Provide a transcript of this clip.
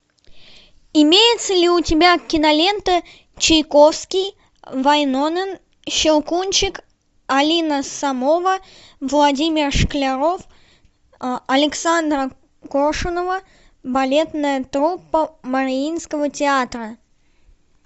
имеется ли у тебя кинолента чайковский вайнонен щелкунчик алина сомова владимир шкляров александра коршунова балетная труппа мариинского театра